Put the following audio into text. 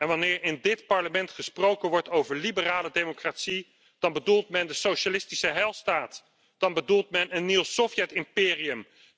Wanneer in dit Parlement gesproken wordt over liberale democratie, dan bedoelt men de socialistische heilstaat, dan bedoelt men een nieuw Sovjet imperium.